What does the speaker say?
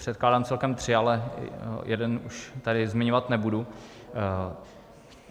Předkládám celkem tři, ale jeden už tady zmiňovat nebudu.